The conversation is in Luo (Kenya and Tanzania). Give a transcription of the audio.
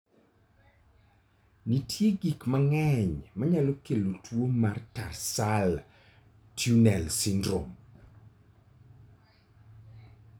Nitie gik mang'eny manyalo kelo tuwo mar tarsal tunnel syndrome.